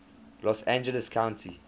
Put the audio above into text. los angeles county